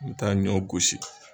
Me taa ɲɔ gosi.